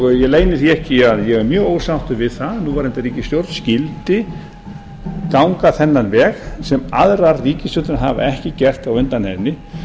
og ég leyni því ekki að ég er mjög ósáttur við það að núverandi ríkisstjórn skyldi ganga þennan veg sem aðrar ríkisstjórnir hafa ekki gert á undan henni